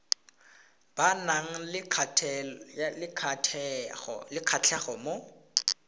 ba nang le kgatlhego mo